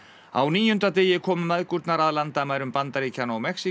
á níunda degi komu mæðgurnar að landamærum Bandaríkjanna og Mexíkó